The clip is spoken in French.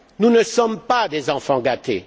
nous ne sommes pas des enfants gâtés